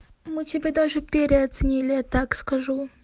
мы тебя даже переоценили я так скажу